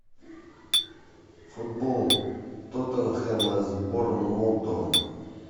футбол тоттенхэма с борнмутом